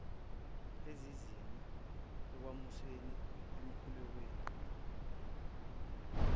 esizinze ekumisweni okwamukeliwe